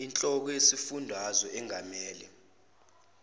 inhloko yesifundazwe engamele